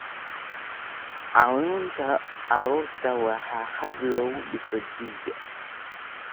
Caawinta carruurta waa hab lagu dhiso jiil.